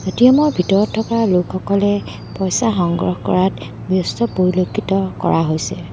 ATM. ভিতৰত থকা লোকসকলে পইচা সংগ্ৰহ কৰাত ব্যস্ত পৰিলক্ষিত কৰা হৈছে।